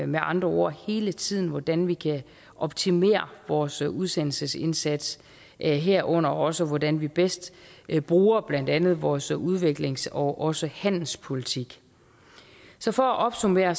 med andre ord hele tiden hvordan vi kan optimere vores udsendelsesindsats herunder også hvordan vi bedst bruger blandt andet vores udviklings og også handelspolitik så for at opsummere